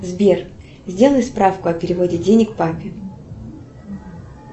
сбер сделай справку о переводе денег папе